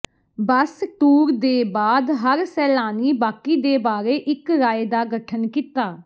ਬੱਸ tour ਦੇ ਬਾਅਦ ਹਰ ਸੈਲਾਨੀ ਬਾਕੀ ਦੇ ਬਾਰੇ ਇੱਕ ਰਾਏ ਦਾ ਗਠਨ ਕੀਤਾ